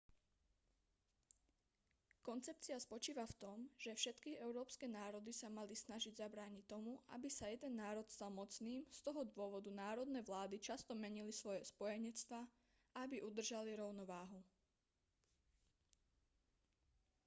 koncepcia spočívala v tom že všetky európske národy sa mali snažiť zabrániť tomu aby sa jeden národ stal mocným z toho dôvodu národné vlády často menili svoje spojenectvá aby udržali rovnováhu